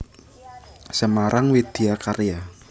Semarang Widya Karya